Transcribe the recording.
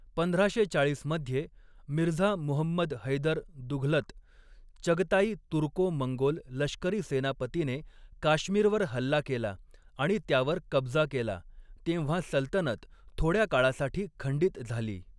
पंधराशे चाळीस मध्ये, मिर्झा मुहम्मद हैदर दुघलत, चगताई तुर्को मंगोल लष्करी सेनापतीने काश्मीरवर हल्ला केला आणि त्यावर कब्जा केला, तेव्हा सल्तनत थोड्या काळासाठी खंडित झाली.